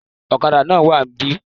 Olókadà náà wá níbí